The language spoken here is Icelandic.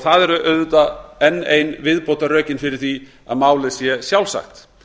það eru auðvitað enn ein viðbótarrökin fyrir því að málið sé sjálfsagt